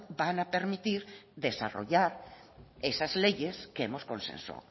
van a permitir desarrollar esas leyes que hemos consensuado